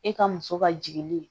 E ka muso ka jigili